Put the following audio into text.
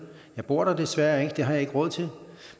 jeg bor der desværre ikke for det har jeg ikke råd til